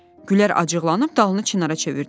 Gülər acıqlanıb dalını Çinara çevirdi.